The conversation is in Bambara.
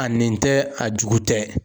A nin tɛ a jugu tɛ.